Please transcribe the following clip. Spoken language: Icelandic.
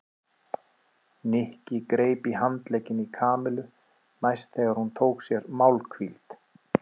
Nikki greip í handlegginn í Kamillu næst þegar hún tók sér málhvíld.